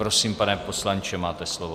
Prosím, pane poslanče, máte slovo.